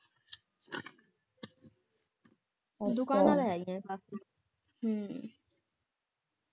ਦੁਕਾਨਾਂ ਤੇ ਹੈਗੀਆਂ ਕਾਫੀ ਹਮ